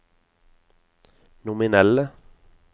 nominelle